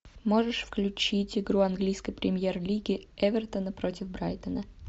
можешь включить игру английской премьер лиги эвертона против брайтона